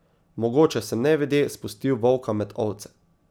Mogoče sem nevede spustil volka med ovce.